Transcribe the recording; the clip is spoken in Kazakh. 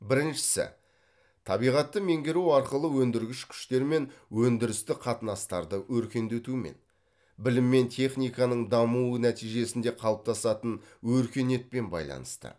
біріншісі табиғатты меңгеру арқылы өндіргіш күштер мен өндірістік қатынастарды өркендетумен білім мен техниканың дамуы нәтижесінде қалыптасатын өркениетпен байланысты